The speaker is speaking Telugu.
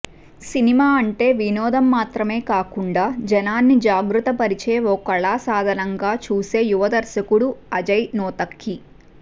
సినిమా అంటే వినోదం మాత్రమే కాకుండా జనాన్ని జాగృతపరిచే ఓ కళాసాధనంగా చూసే యువ దర్శకుడు అజయ్ నూతక్కి